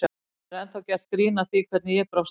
Það er ennþá gert grín að því hvernig ég brást við.